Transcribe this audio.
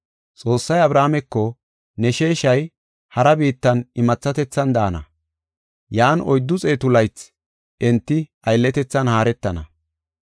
Xoossay Abrahaameko, ‘Ne sheeshay hara biittan imathatethan daana; yan oyddu xeetu laythi enti aylletethan haaretana.